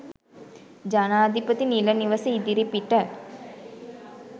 ජනාධිපති නිල නිවස ඉදිරිපිට